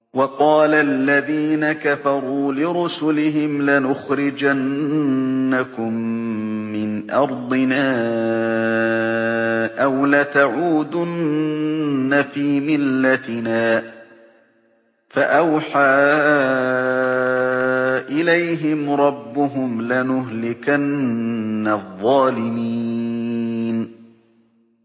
وَقَالَ الَّذِينَ كَفَرُوا لِرُسُلِهِمْ لَنُخْرِجَنَّكُم مِّنْ أَرْضِنَا أَوْ لَتَعُودُنَّ فِي مِلَّتِنَا ۖ فَأَوْحَىٰ إِلَيْهِمْ رَبُّهُمْ لَنُهْلِكَنَّ الظَّالِمِينَ